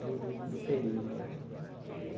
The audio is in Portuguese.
do do do período.